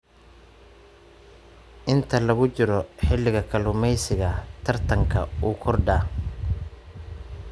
Inta lagu jiro xilliga kalluumeysiga, tartanka wuu kordhaa.